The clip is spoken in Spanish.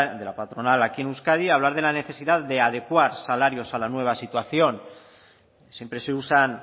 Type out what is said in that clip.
de la patronal aquí en euskadi hablar de la necesidad de adecuar salarios a la nueva situación siempre se usan